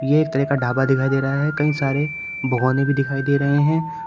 ये एक तरह का ढाबा दिखाई दे रहा है कई सारे भगौने भी दिखाई दे रहे हैं।